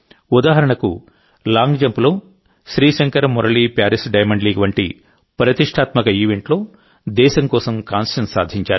ఉదాహరణకులాంగ్ జంప్లోశ్రీశంకర్ Murali Paris diamond league వంటి ప్రతిష్ఠాత్మక ఈవెంట్లో దేశం కోసం కాంస్యం సాధించారు